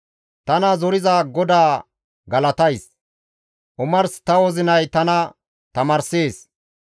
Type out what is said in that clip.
Tana zoriza GODAA galatays; omars ta wozinay tana tamaarssees.